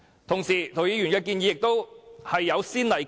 同時，涂謹申議員的建議也有先例。